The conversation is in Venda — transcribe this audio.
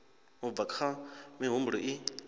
u bva kha mihumbulo i